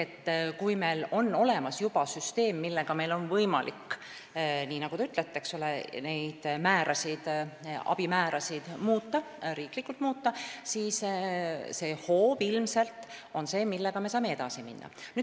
Ehk kui meil on olemas juba süsteem, millega meil on võimalik neid abi määrasid riiklikult muuta, siis see hoob on ilmselt see, millega me saame edasi minna.